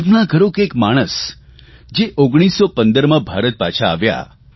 કલ્પના કરો કે એક માણસ જે 1915માં ભારત પાછા આવ્યા